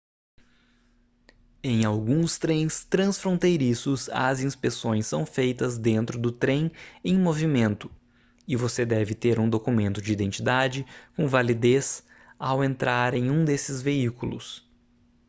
em alguns trens transfronteiriços as inspeções são feitas dentro do trem em movimento e você deve ter um documento de identidade com validez ao entrar em um desses veículos